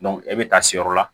e bɛ taa si yɔrɔ la